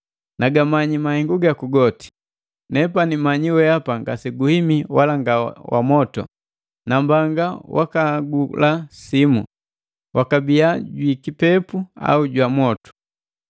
Nagamanyi mahengu gaku goti! Nepani manyiki weapa ngase guhimi wala nga wa mwotu. Nambanga wakaagula simu: wakabia jwi kipepu au jwa motu!